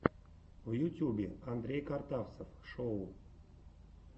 в ютьюбе андрей картавцев шоу